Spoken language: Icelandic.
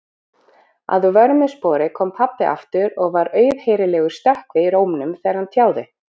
Að vörmu spori kom pabbi aftur og var auðheyrilegur stökkvi í rómnum þegar hann tjáði